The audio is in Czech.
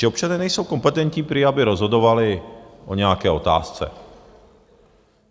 Že občané nejsou kompetentní prý, aby rozhodovali o nějaké otázce.